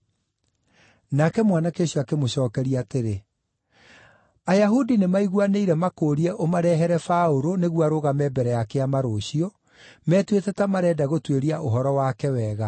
Nake mwanake ũcio akĩmũcookeria atĩrĩ, “Ayahudi nĩmaiguanĩire makũũrie ũmarehere Paũlũ nĩguo arũgame mbere ya kĩama rũciũ, metuĩte ta marenda gũtuĩria ũhoro wake wega.